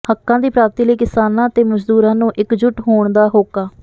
ਹੱਕਾਂ ਦੀ ਪ੍ਰਾਪਤੀ ਲਈ ਕਿਸਾਨਾਂ ਤੇ ਮਜ਼ਦੂਰਾਂ ਨੂੰ ਇੱਕਜੁੱਟ ਹੋਣ ਦਾ ਹੋਕਾ